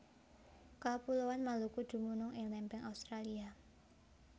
Kapuloan Maluku dumunung ing lempeng Australia